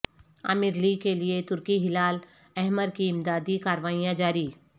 عامر لی کے لئے ترکی ہلال احمر کی امدادی کاروائیاں جاری